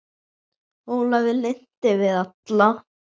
Ólafi lynti við alla